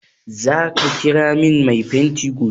Za ka kira min mai fenti gobe?